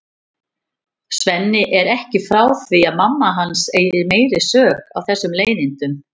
Svenni er ekki frá því að mamma hans eigi meiri sök á þessum leiðindum.